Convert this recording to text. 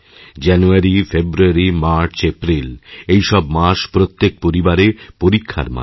জানুয়ারি ফেব্রুয়ারি মার্চ এপ্রিল এই সব মাসপ্রত্যেক পরিবারে পরীক্ষার মাস